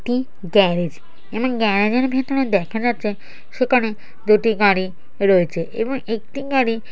এটি গ্যারেজ এমন গ্যারাজে এর ভিতরে দেখা যাচ্ছে সেখানে দুটি গাড়ি রয়েছে এবং একটি গাড়ি --